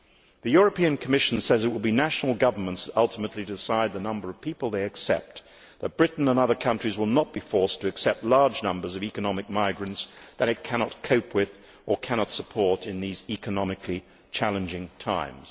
The Commission says it will be national governments that ultimately decide the number of people they accept, and that Britain and other countries will not be forced to accept large numbers of economic migrants that it cannot cope with or cannot support in these economically challenging times.